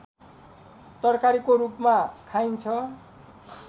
तरकारीको रूपमा खाइन्छ